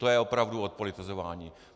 To je opravdu odpolitizování.